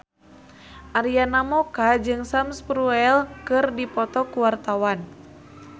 Arina Mocca jeung Sam Spruell keur dipoto ku wartawan